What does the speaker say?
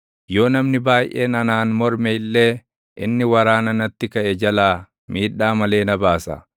Yoo namni baayʼeen anaan morme illee, inni waraana natti kaʼe jalaa miidhaa malee na baasa.